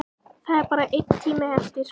Það er bara einn tími eftir.